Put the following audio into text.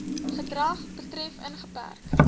gedrag betref ingeperk